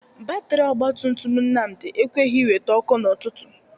Batịrị ọgbatumtum Nnamdị ekweghi iwete ọkụ n'ụtụtụ.